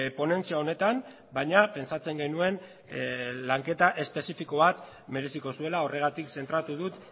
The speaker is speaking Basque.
ponentzia honetan baina pentsatzen genuen lanketa espezifiko bat mereziko zuela horregatik zentratu dut